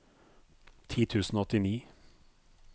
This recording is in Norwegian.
ti tusen og åttini